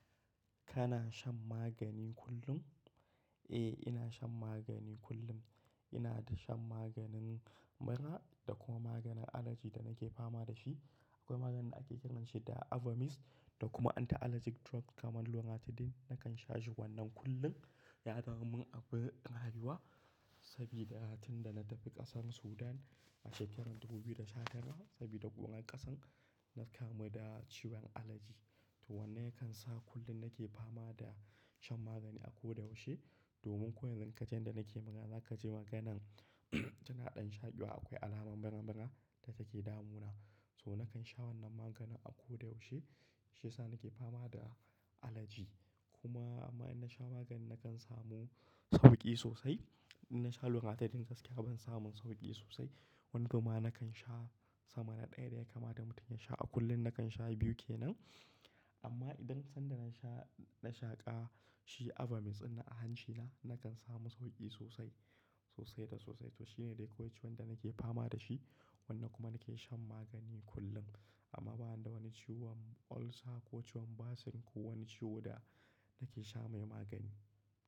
Kana shan magani kullum? Eh, ina shan magani kullum. Ina da shan maganin mura da kuma maganin allergy da nake fama da shi. Akwai maganin ake kiranshi da Avamys da kuma anti-allergic drop kamar Loratadine. Nakan sha shi wannan kullum. Ya damu min abu ɗin haihuwa sabida hatun da na tafi ƙasar Sudan a shekarar 2015 sabida ƙuɓan ƙasan, na kamu da ciwon allergy. To wannan yakan sa kullum nake fama da shan magani a ko da yaushe. Domin ko yanzu ka ji yadda nake magana, za ka ji maganan tanaɗan shaƙewa akwai alamar mura-mura da take damuna. So nakan sha wannan maganin a ko da yaushe, shi ya sa nake fama da allergy. Kuma amma idan na sha magani nakan samu sauƙi sosai. Idan na sha Loratadine gaskiya ban samun sauƙi sosai. Wannan kuma nakan sha sama na ɗaya da ya kama da mutum ya sha a kullum nakan sha biyu ke nan. Amma idan sanda na sha, na shaƙa shi Avamys na a hancina nakan samu sauƙi sosai, sosai da sosai. To shine dai ko wacce wanda nake fama da shi. Wannan kuma nake shan magani kullum. Amma ba ni da wani ciwon ulcer ko wani ciwon basin ko wani ciwo da nake sha mai magani.